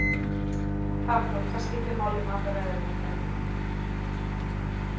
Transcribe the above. Hafþór: Það skiptir máli matarræðið er það ekki?